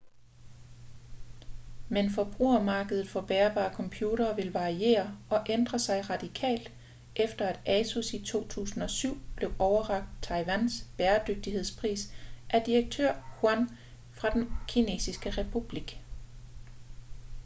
men forbrugermarkedet for bærbare computere vil variere og ændre sig radikalt efter at asus i 2007 blev overrakt taiwans bæredygtighedspris af direktør yuan fra den kinesiske republik